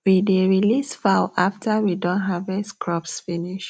we dey release fowl after we don harvest crops finish